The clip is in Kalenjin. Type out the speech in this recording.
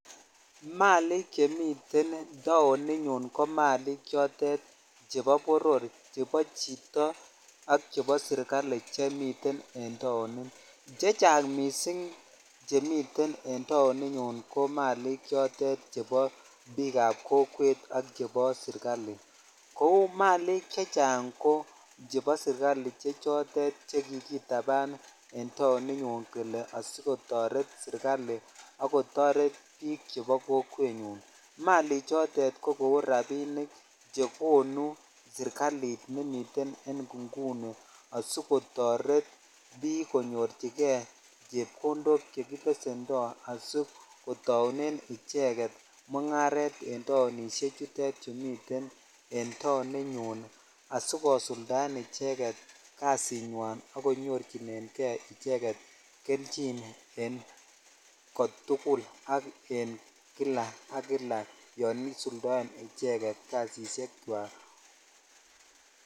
Malik che miten taoninyu ko malik choton chebo boroo ,chebo chito ak chebo sirikali chemiten en taonit che chang missing chemiten en taonik nyun ko chebo kokwet ak chebo serkali kou malik chebo serkali ko chotet chekikidapan en taoni nyun kele asikotoret serkali ak kotoret bik chebo kokwenyun Malik choton ko kou rabinik chekonu serkslit nemiten en inguni asikotoret bik konyorchikei chepkondok chekibesimendoi asikotsunen icheget mugaret en taonishek tutet chumi asikosuldaen kasinywan ak konyorchmhinen kei icheget kelchin en kotul ak en kila sk kila yan isuldoe icheget kasishek chwak.